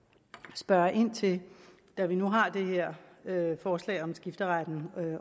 spørge ind til da vi nu har det her forslag om skifteretten